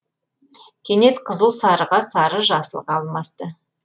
кенет қызыл сарыға сары жасылға алмасты